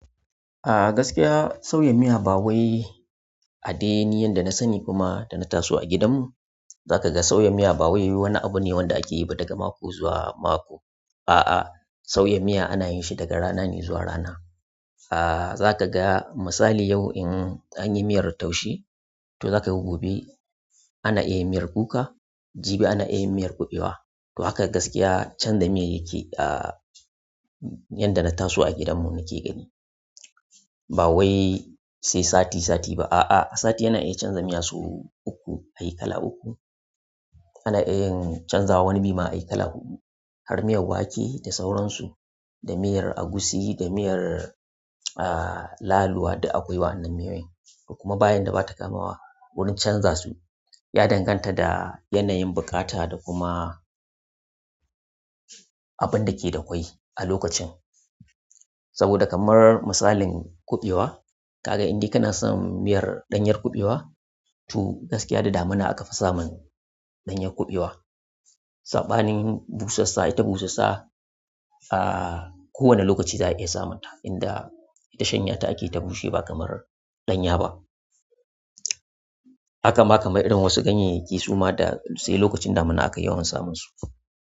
A gaskiya sauya miya ba wai a dai ne yadda na sani kuma da na taso a gidanmu. Za ka ga sauya miya ba wai wani abu ne wanda ake yi ba daga mako zuwa mako. A'a, sauyan miya ana yin shi daga rana ne zuwa rana. Aaa, za ka ga misali yau in an yi miyar taushe, to za ka ga gobe ana iya miyar kuka, jibi ana iya miyar kuɓewa. To haka gaskiya canza miyar yake a yanda na taso a gidanmu nake gani. Ba wai sai sati sati ba, a'a sati yana iya canza miya sau uku ayi kala uku. Ana iya yin canza wuni bi ma ayi kala huɗu. Har miyar wake da sauransu, da miyar agushi, da miyar aaa laluwa duk akwai wannan miyoyin. Kuma bayan da bata kamawa wurin canza su, ya danganta da yanayin buƙata da kuma abin da ke da kwai a lokacin. Saboda kamar misalin kuɓewa, ka ga in dai kana son miyar ɗanyar kuɓewa, to gaskiya da damina aka fi samun ɗanyar kuɓewa. Saɓanin busassa ita busassa, aaa kowane lokaci za a iya samun ta. Inda ita shanya ta ake ta bushe ba kamar ɗanya ba. Haka ma kamar irin wasu ganyayyaki suma da sai lokacin damina aka yawan samun su.